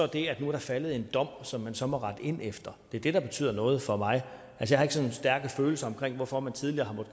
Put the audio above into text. og at der nu er faldet en dom som man så må rette ind efter det er det der betyder noget for mig jeg har ikke sådan stærke følelser omkring hvorfor man tidligere